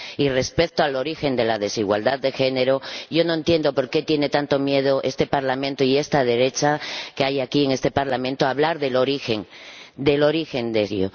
Y respecto al origen de la desigualdad de género, yo no entiendo por qué tiene tanto miedo este Parlamento, y esta derecha que hay aquí en este Parlamento, a hablar del origen de ello.